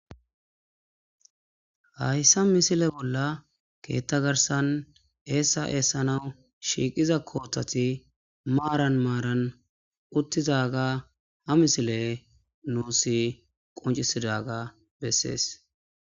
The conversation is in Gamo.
Hayssa misile bolla keetta garsan eessa eessanaw shiiqiza kootati maaran maaran uttizaga ha misile nuusi qoncisidaga bessees.